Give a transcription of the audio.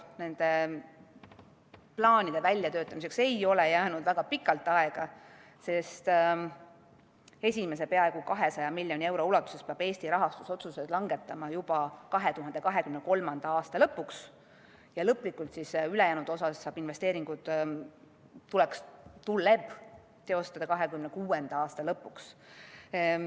Nende plaanide väljatöötamiseks ei ole jäänud väga pikalt aega, sest esimese peaaegu 200 miljoni euro ulatuses peab Eesti rahastusotsused langetama juba 2023. aasta lõpuks ja lõplikult, ülejäänud osas tuleb investeeringud teostada 2026. aasta lõpuks.